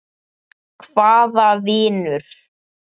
Hvaða vinur?